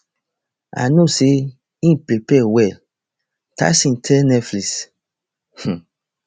i know say e prepare well tyson tell netflix um